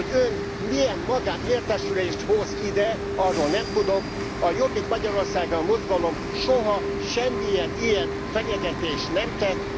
Hogy Ön milyen magánértesülést hoz ide, arról nem tudok, a Jobbik Magyarországért Mozgalom soha, semmilyen ilyen fenyegetést nem tett.